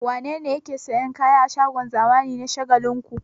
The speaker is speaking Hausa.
Wane ne yake sayan kaya a shagon zamani na Shagalinku?